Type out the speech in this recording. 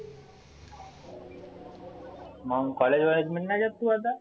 मग college ले नाही जात का मग तु आता.